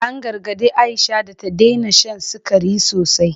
An gargadi Aisha da ta daina shan sikari sosai.